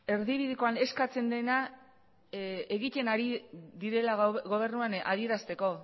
erbididekoan eskatzen dena egiten ari direla gobernuan adierazteko